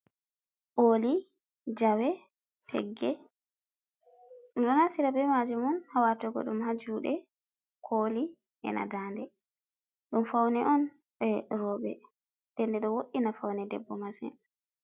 Oli, jawe, pegge, ɗum ɗo naftira be maajum haa watugo ɗum haa juuɗe, kooli, e na daande, ɗum faune on je rooɓe, nden ɗo wo'ina faune debbo masin.